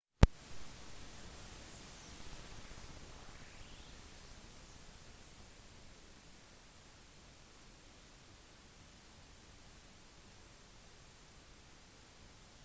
apple-direktør steve jobs avslørte enheten på scenen mens han tok iphone ut av lommen på buksen sin